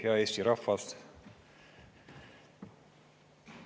Hea Eesti rahvas!